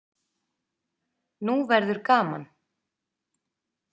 Nú verður gaman!